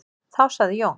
Þá sagði Jón: